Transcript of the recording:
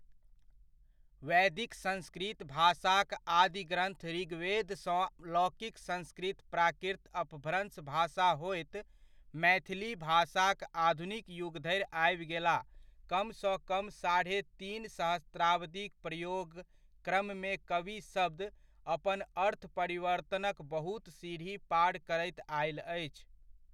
वैदिक संस्कृत भाषाक आदि ग्रन्थ ऋग्वेद सँ लौकिक संस्कृत प्राकृत अपभ्रंश भाषा होएत मैथिली भाषाक आधुनिक युगधरि आबि गेला कम सँ कम साढ़े तीन सहस्राब्दीक प्रयोग क्रममे कवि शब्द अपन अर्थ परिवर्तनक बहुत सिढ़ी पार करैत आयल अछि।